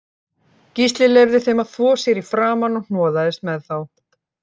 Gísli leyfði þeim að þvo sér í framan og hnoðaðist með þá